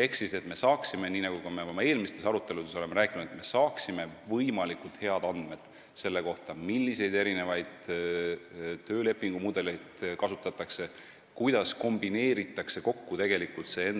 Ehk siis, nagu me ka oma eelmistes aruteludes oleme rääkinud, me peame saama võimalikult head andmed selle kohta, milliseid töölepingu mudeleid kasutatakse, kuidas kombineeritakse tegelikult see